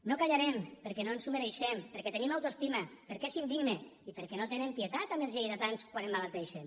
no callarem perquè no ens ho mereixem perquè tenim autoestima perquè és indigne i perquè no tenen pietat amb els lleidatans quan emmalalteixen